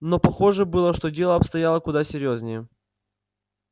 но похоже было что дело обстояло куда серьёзнее